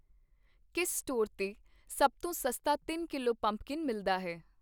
ਕਿਸ ਸਟੋਰ 'ਤੇ ਸਭ ਤੋਂ ਸਸਤਾ ਤਿੰਨ ਕੀਲਵੋ ਪੰਪਕਿੰਨ ਮਿਲਦਾ ਹੈ